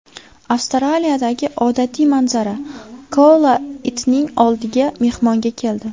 Avstraliyadagi odatiy manzara: koala itning oldiga mehmonga keldi.